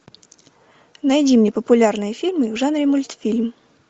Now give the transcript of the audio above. найди мне популярные фильмы в жанре мультфильм